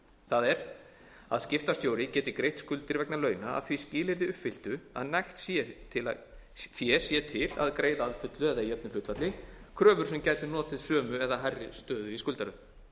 það er að skiptastjóri geti greitt skuldir vegna launa að því skilyrði uppfylltu að nægt fé sé til að greiða að fullu eða í jöfnu hlutfalli kröfur sem gætu notið sömu eða hærri stöðu í skuldaröð